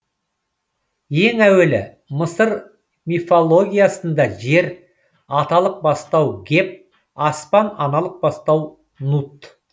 ең әуелі мысыр мифологиясында жер аталық бастау геб аспан аналық бастау нут